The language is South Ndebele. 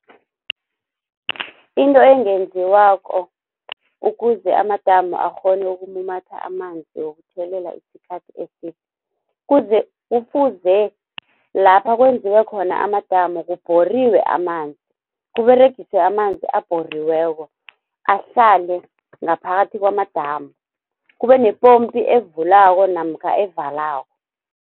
Into engenziwako ukuze amadamu akghone ukumumatha amanzi wokuthelela isikhathi eside. Kufuze lapha kwenziwe khona amadamu kubhoriwe amanzi kUberegiswe amanzi abhoriweko, ahlale ngaphakathi kwamadamu. Kube nepompi evulako namkha evalako.